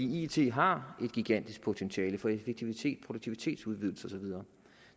it har et gigantisk potentiale for effektivitet og produktivitetsudvidelse og så videre